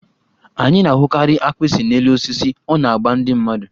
Anyị na-ahụkarị agbịsị n'elu osisi, ọ na-agba ndị mmadụ.